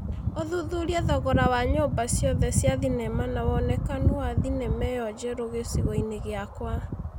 ũthuthurie thogora wa nyũmba ciothe cia thenema na wonekanu wa thenema ĩyo njerũ gĩcigo-inĩ gĩakwa